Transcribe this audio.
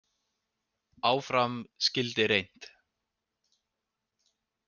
Áfram skyldi reynt.